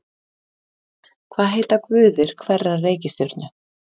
Hvað heita guðir hverrar reikistjörnu?